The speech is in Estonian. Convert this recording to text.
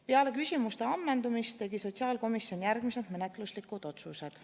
Peale küsimuste ammendumist tegi sotsiaalkomisjon järgmised menetluslikud otsused.